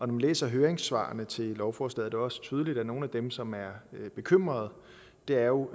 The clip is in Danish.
man læser høringssvarene til lovforslaget også tydeligt at nogle af dem som er bekymrede jo